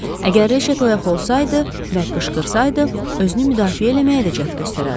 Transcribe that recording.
Əgər reşet oyaq olsaydı və qışqırsaydı, özünü müdafiə eləməyə də cəhd göstərərdi.